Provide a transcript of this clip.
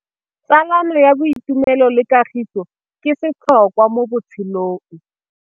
Tsalano ya boitumelo le kagiso ke setlhôkwa mo botshelong.